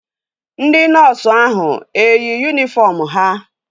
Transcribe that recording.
Ndị nọọsu ahụ eyi yunifọm ha?